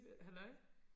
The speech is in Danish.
halløj